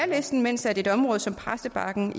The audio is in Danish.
listen mens et område som præstebakken